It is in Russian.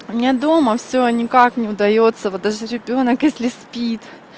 у меня дома всё никак не удаётся вот даже ребёнок если спит